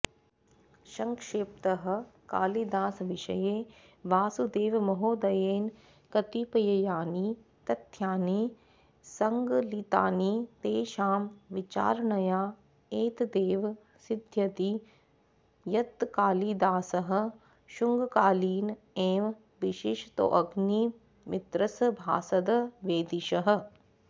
सङ्क्षेपतः कालिदासविषये वासुदेवमहोदयेन कतिपयानि तथ्यानि सङ्कलितानि तेषां विचारणया एतदेव सिध्यति यत्कालिदासः शुङ्गकालीन एव विशेषतोऽग्निमित्रसभासद् वैदिशः